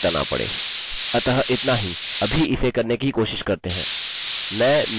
अपने पासवर्ड्स में से एक चुनते हैं हम अपना पासवर्ड दोहराएँगे नहीं